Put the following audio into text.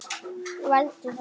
Veldu það.